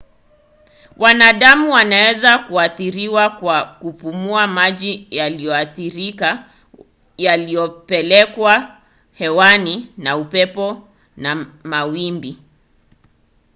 wanadamu waweza kuathiriwa kwa kupumua maji yaliyoathirika yaliyopelekwa hewani na upepo na mawimbi